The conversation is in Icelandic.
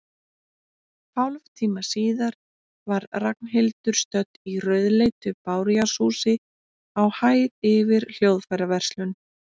Hálftíma síðar var Ragnhildur stödd í rauðleitu bárujárnshúsi, á hæð yfir hljóðfæraverslun.